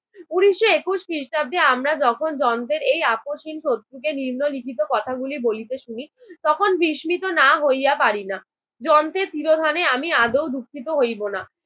উনিশশো একুশ খ্রিস্টাব্দে আমরা যখন যন্ত্রের এই আপোসহীন শত্রুকে নিম্নলিখিত কথাগুলি বলিতে শুনি তখন বিসমিত না হইয়া পারিনা যন্ত্রের তীরধানে আমি আদৌ দুঃখিত হইবো না।